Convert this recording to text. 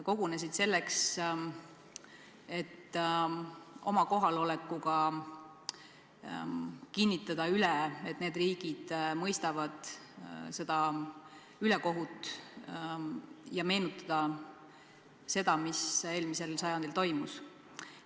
Kogunesid selleks, et oma kohalolekuga kinnitada üle, et need riigid mõistavad seda ülekohut, ja meenutada seda, mis eelmisel sajandil toimus.